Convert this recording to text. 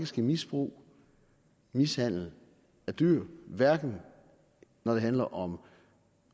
ske misbrug mishandling af dyr hverken når det handler om at